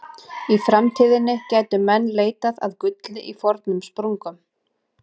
Í framtíðinni gætu menn leitað að gulli í fornum sprungum.